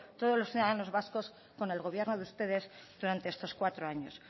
todos los ciudadanos vascos con el gobierno de ustedes durante estos cuatro años